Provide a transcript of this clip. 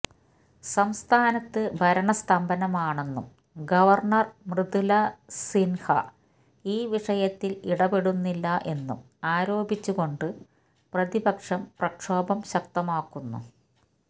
സംസ്ഥാനത്ത് ഭരണ സ്തംഭനമാണെന്നും ഗവര്ണര് മൃദുല സിന്ഹ ഈ വിഷയത്തില് ഇടപെടുന്നില്ല എന്നും ആരോപിച്ചുകൊണ്ട് പ്രതിപക്ഷം പ്രക്ഷോഭം ശക്തമാക്കുന്നു